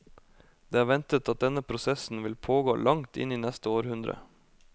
Det er ventet at denne prosessen vil pågå langt inn i neste århundre.